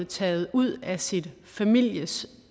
taget ud af sin families